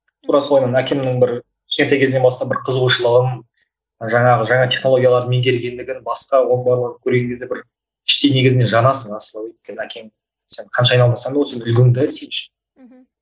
тура соның әкемнің бір кішкентай кезінен бастап бір қызығушылығын жаңағы жаңа технологияларды меңгергендігін басқа оның барлығын көрген кезде бір іштей негізінде жанасың асылы өйткені әкең сен қанша айналмасаң да ол сенің үлгің де